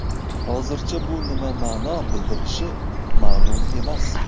Hozircha bu nima ma’no bildirishi ma’lum emas.